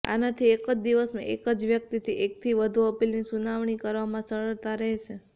આનાથી એક જ દિવસમાં એક જ વ્યક્તિની એકથી વધુ અપીલની સુનાવણી કરવામાં સરળતા રહેશે